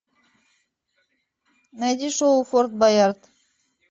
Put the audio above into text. найди шоу форт боярд